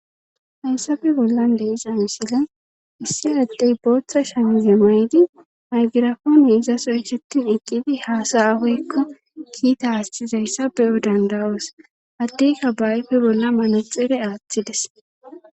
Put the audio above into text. hayssabe bollan de'iza misile issi addey booththa shamize maydi maygirafoone izasoychetin iqqidi haasayafeykko kiita aastizayssa be7o dandawoos haddeyka bayfe bolla manaxire aaththides